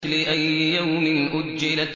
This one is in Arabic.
لِأَيِّ يَوْمٍ أُجِّلَتْ